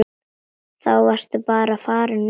Þá varstu bara farinn norður.